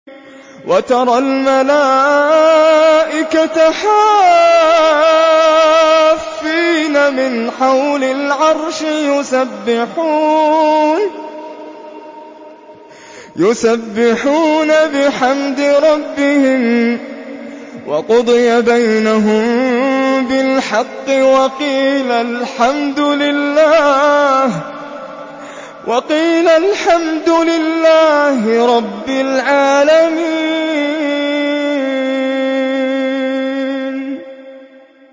وَتَرَى الْمَلَائِكَةَ حَافِّينَ مِنْ حَوْلِ الْعَرْشِ يُسَبِّحُونَ بِحَمْدِ رَبِّهِمْ ۖ وَقُضِيَ بَيْنَهُم بِالْحَقِّ وَقِيلَ الْحَمْدُ لِلَّهِ رَبِّ الْعَالَمِينَ